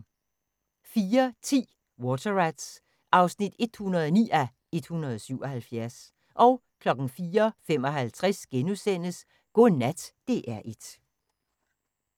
04:10: Water Rats (109:177) 04:55: Godnat DR1 *